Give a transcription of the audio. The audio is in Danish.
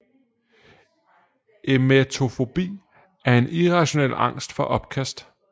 Emetofobi er en irrationel angst for opkast